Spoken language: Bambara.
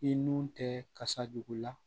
I nun tɛ kasa juguya